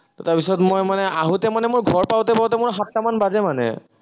তাৰপিছত মই মানে আহোঁতে মানে ঘৰ পাঁওতে পাঁওতে মোৰ সাতটা মান বাজে, মানে।